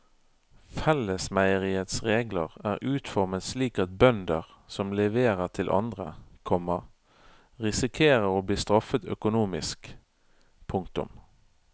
Fellesmeieriets regler er utformet slik at bønder som leverer til andre, komma risikerer å bli straffet økonomisk. punktum